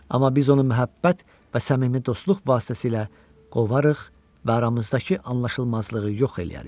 Amma biz onu məhəbbət və səmimi dostluq vasitəsilə qovarıq və aramızdakı anlaşılmazlığı yox eləyərik.